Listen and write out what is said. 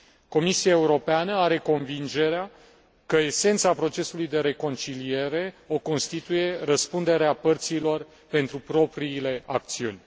Comisia Europeană are convingerea că esența procesului de reconciliere o constituie răspunderea părților pentru propriile acțiuni.